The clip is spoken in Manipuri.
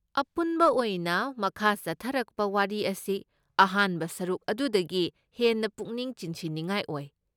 ꯑꯄꯨꯟꯕ ꯑꯣꯏꯅ, ꯃꯈꯥ ꯆꯠꯊꯔꯛꯄ ꯋꯥꯔꯤ ꯑꯁꯤ ꯑꯍꯥꯟꯕ ꯁꯔꯨꯛ ꯑꯗꯨꯗꯒꯤ ꯍꯦꯟꯅ ꯄꯨꯛꯅꯤꯡ ꯆꯤꯡꯁꯤꯟꯅꯤꯡꯉꯥꯏ ꯑꯣꯏ꯫